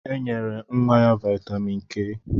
E nyere nwa ya vitamin K